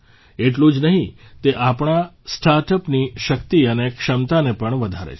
એટલું જ નહિં તે આપણા સ્ટાર્ટઅપની શક્તિ અને ક્ષમતાને પણ વધારે છે